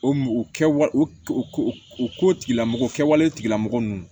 O u kɛ wa u ko u ko tigila mɔgɔ kɛwale tigilamɔgɔ nunnu